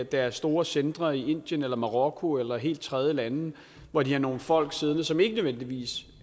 deres store centre i indien eller marokko eller helt tredje lande hvor de har nogle folk siddende som ikke nødvendigvis